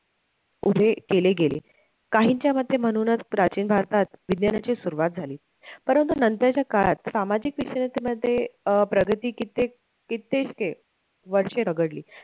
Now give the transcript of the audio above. उभे केले गेले, काहींच्या मते म्हणूनच प्राचीन भारतात विज्ञानाची सुरवात झाली परंतु नंतरच्या काळात सामाजिक विषयांमध्ये अं प्रगती कित्येक कित्येक वर्षे रगडली